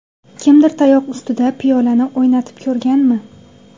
Kimdir tayoq ustida piyolani o‘ynatib ko‘rganmi?